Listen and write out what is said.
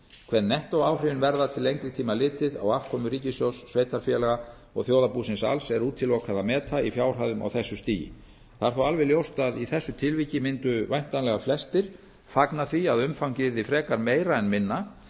hver nettóáhrifin verða til lengri tíma litið á afkomu ríkissjóðs sveitarfélaga og þjóðarbúsins alls er útilokað að meta í fjárhæðum á þessu stigi það er þó alveg ljóst að í þessu tilviki mundu væntanlega flestir fagna því að umfangið yrði frekar meira en